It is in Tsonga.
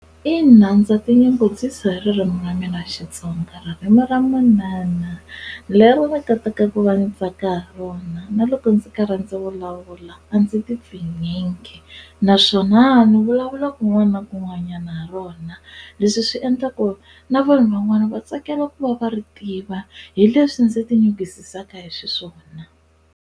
Ina ndza tinyungubyisa hi ririmi ra mina Xitsonga ririmi ra manana leri va kotaka ku va ndzi tsaka hi rona na loko ndzi karhi ndzi vulavula a ndzi ti pfinyingi naswona ni vulavula kun'wana na kun'wanyana ha rona leswi swi endla ku na vanhu van'wana va tsakela ku va va ri tiva hi leswi ndzi hi xiswona.